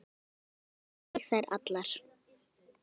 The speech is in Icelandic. Kyssti ég þær allar.